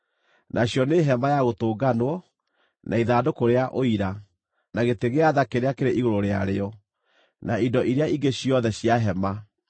nacio nĩ Hema-ya-Gũtũnganwo, na ithandũkũ rĩa Ũira, na gĩtĩ gĩa tha kĩrĩa kĩrĩ igũrũ rĩarĩo, na indo iria ingĩ ciothe cia hema,